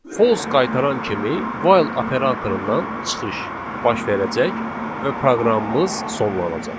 False qaytaran kimi while operatorundan çıxış baş verəcək və proqramımız sonlanacaq.